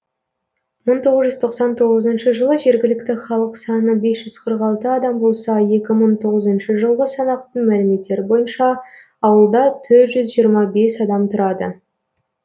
мың тоғыз жүз тоқсан тоғызыншы жылы жергілікті халық саны бес жүз қырық алты адам болса екі мың тоғызыншы жылғы санақтың мәліметтері бойынша ауылда төрт жүз жиырма бес адам тұрады